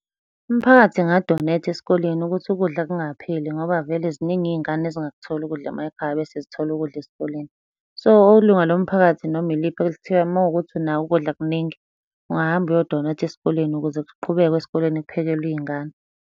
Umphakathi enga-donate-a esikoleni ukuthi ukudla kungapheli ngoba vele ziningi iy'ngane ezingakutholi ukudla emakhaya bese zithola ukudla esikoleni. So, ilunga lomphakathi noma iliphi elithiwa uma kuwukuthi unako ukudla kuningi, ungahamba uyo-donate-a esikoleni ukuze kuqhubekwe esikoleni kuphekelwa iy'ngane.